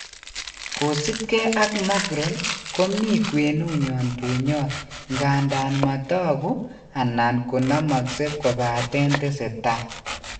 Kosipke ak Macron komii kwenunyon bunyot ngadan matoku anan konamakse kobaten teseta